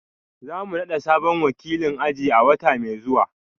Za mu nada sabon wakilin aji a wata mai zuwa